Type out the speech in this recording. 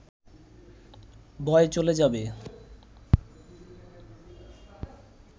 ভয় চলে যাবে